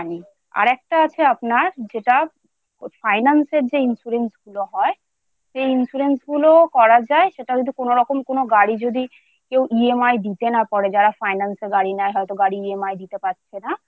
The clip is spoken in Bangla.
আর একটা আছে আপনার যেটা Finance এর যে insurance গুলো হয় সেই insurance গুলোও করা যায় সেটা যদি কোনওরকম কোনও গাড়ি যদি কেউ EMI দিতে না পারে